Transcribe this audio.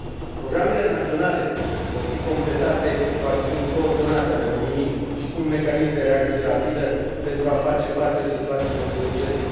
Programele naționale vor fi completate cu acțiuni coordonate ale Uniunii și cu un mecanism de reacție rapidă, pentru a face față situațiilor de urgență.